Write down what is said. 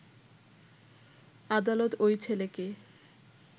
আদালত ওই ছেলেকে